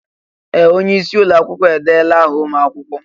Ee! Onye isi ụlọ akwụkwọ edeela áhà ụmụ akwụkwọ.